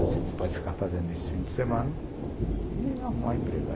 Você pode ficar fazendo esse fim de semana e arrumar um emprego.